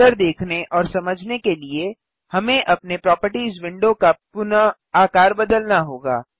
बेहतर देखने ओर समझने के लिए हमें अपने प्रोपर्टिज विंडो का पुनः आकार बदलना होगा